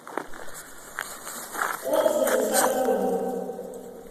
отзывы сатурн